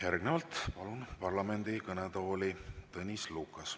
Järgnevalt palun parlamendi kõnetooli Tõnis Lukase.